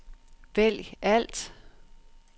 vælg alt